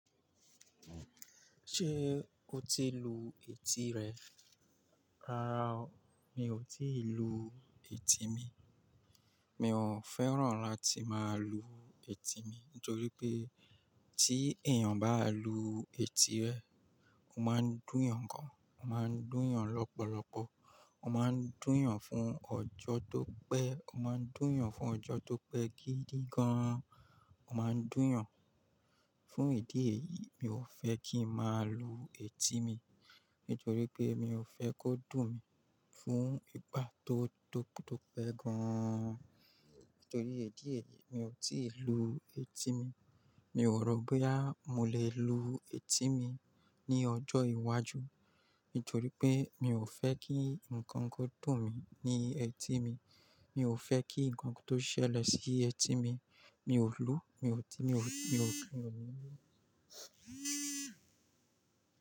Ṣé o ti lu etí rẹ? Rárá o, mi ò tí ì lu etí mi. Mi ò fẹ́ràn láti máa lu etí mi nítorí pé tí èèyàn bá lu etí rẹ̀, ó máa ń dùn yàn gan, ó máa ń dùn yàn lọ́pọ̀lọpọ̀, ó máa ń dùn yàn fún ọjọ́ tó pẹ́, ó máa ń dùn yàn fún ọjọ́ tó pẹ́ gidi gan an. Ó máa ń dùn yàn. Fú ìdí èyí, mi ò fẹ́ kí n máa lu etí mi nítorí pé mi ò fẹ́ kó dùn mí fú ìgbà tó, tó, tó pẹ́ gan an. Nítorí ìdí èyí, mi ò tí ì lu etí mi. Mi ò rò bo ya mo le lu etí mi ní ọjọ́ iwájú nítorí pé mi ò fẹ́ kí ǹkan kó dùn mí ní etí mi. Mi ò fẹ́ kí ǹkan tó ṣẹlẹ̀ sí etí mi. Mi ò lu, mi ò tí, mi ò, mi ò pè ọ́ mímú.